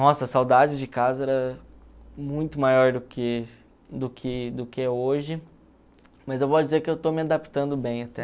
Nossa, a saudade de casa era muito maior do que do que do que hoje, mas eu vou dizer que eu estou me adaptando bem até.